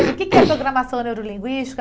O que que é programação neurolinguística?